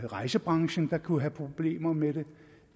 rejsebranchen kunne have problemer med det